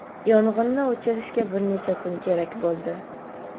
yong‘inni o‘chirishga bir necha kun kerak bo‘ldi.